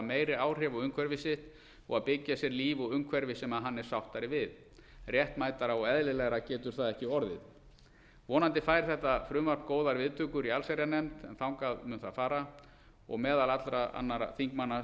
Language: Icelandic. meiri áhrif á umhverfi sitt og að byggja sér líf og umhverfi sem hann er sáttari við réttmætara og eðlilegra getur það ekki orðið vonandi fær þetta frumvarp góðar viðtökur í allsherjarnefnd en þangað mun það fara og meðal allra annarra þingmanna